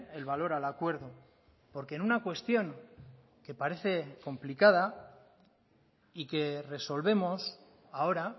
el valor al acuerdo porque en una cuestión que parece complicada y que resolvemos ahora